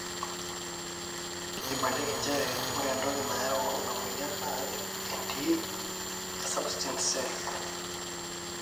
eibalieki njere ore entoki nayau ina mweyian naa entiie e subsituent cells